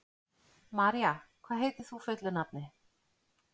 María, hvað heitir þú fullu nafni?